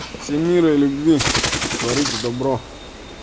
семеро любви творитк добро